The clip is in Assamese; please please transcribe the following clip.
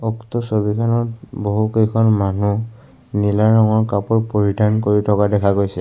উক্ত ছবিখনত বহুকেইখন মানুহ নীলা ৰঙৰ কাপোৰ পৰিধান কৰি থকা দেখা গৈছে।